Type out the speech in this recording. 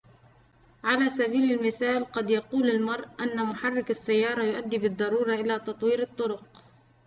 على سبيل المثال قد يقول المرء أن محرك السيارة يؤدي بالضرورة إلى تطوير الطرق